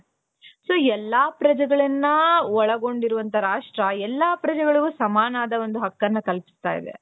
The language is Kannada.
so ಎಲ್ಲಾ ಪ್ರಜೆಗಳನ್ನ ಒಳಗೊಂಡಿರುವಂತಹ ರಾಷ್ಟ್ರ ಎಲ್ಲಾ ಪ್ರಜೆಗಳು ಸಮಾನವಾದ ಹಕ್ಕನ್ನ ಕಲ್ಪಿಸುತ್ತಾ ಇದೆ.